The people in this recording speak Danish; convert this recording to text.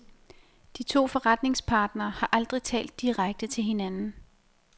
De to forrentingspartnere har aldrig talt direkte til hinanden.